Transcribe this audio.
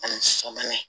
Ani sabanan